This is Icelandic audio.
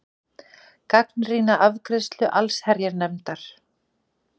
Gagnrýna afgreiðslu allsherjarnefndar